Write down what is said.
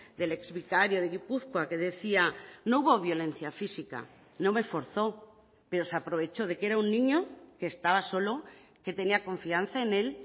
del exvicario de gipuzkoa que decía no hubo violencia física no me forzó pero se aprovechó de que era un niño que estaba solo que tenía confianza en él